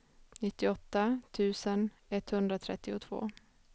nittioåtta tusen etthundratrettiotvå